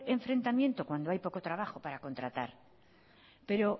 enfrentamiento cuando hay poco trabajo para contratar pero